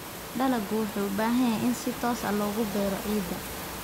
Dalaggu wuxuu u baahan yahay in si toos ah loogu beero ciidda.